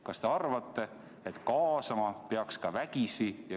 Kas te arvate, et kaasama peaks ka vägisi?